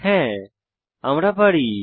হ্যাঁ আমরা পারি